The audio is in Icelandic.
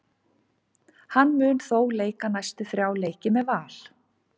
Hann mun þó leika næstu þrjá leiki með Val.